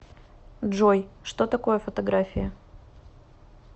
джой что такое фотография